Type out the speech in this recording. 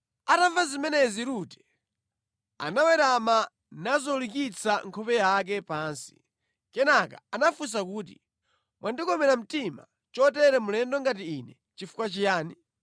Atamva zimenezi Rute anawerama nazolikitsa nkhope yake pansi. Kenaka anafunsa kuti, “Mwandikomera mtima chotere mlendo ngati ine chifukwa chiyani?”